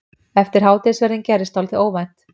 Eftir hádegisverðinn gerðist dálítið óvænt.